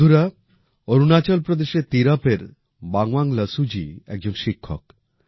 বন্ধুরা অরুণাচল প্রদেশে তীরপএর বানওয়াং লসুজি একজন শিক্ষক